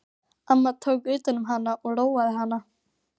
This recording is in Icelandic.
Amma tók utan um hana og róaði hana.